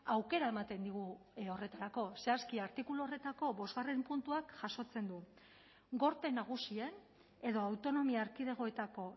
aukera ematen digu horretarako zehazki artikulu horretako bostgarrena puntuak jasotzen du gorte nagusien edo autonomia erkidegoetako